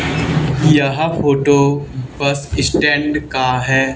यह photo bus stand का है।